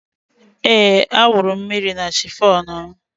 Ee, a wụrụ mmiri na chifọn m